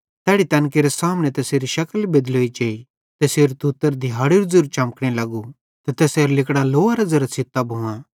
तैड़ी तैन केरे सामने तैसेरी शकल बेदलोई जेई तैसेरू तुत्तर दिहाड़ेरू ज़ेरू चमकने लगू ते तैसेरां लिगड़ां लोअरां ज़ेरां छ़ित्तां भुआं